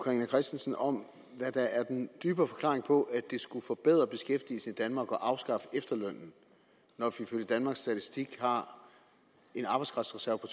carina christensen om hvad der er den dybere forklaring på at det skulle forbedre beskæftigelsen i danmark at afskaffe efterlønnen når vi ifølge danmarks statistik har en arbejdskraftreserve på